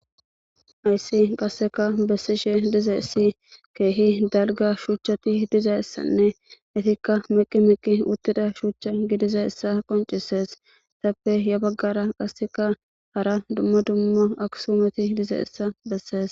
Hayssi qasseka bessishe dize issi keehi dalga shuuchchati dizayissanne itikka miqi miqqi uttida shuuchcha gidiza issa qoncisees tappe ya baggara qasseka hara dumma dumma aksumoti dize issa bessees